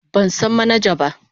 Ban san manaja ba.